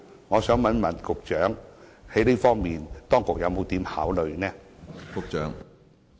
我想問局長，在這方面當局有甚麼考慮？